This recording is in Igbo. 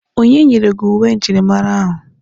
Onye nyere gị uwe njirimara ahụ?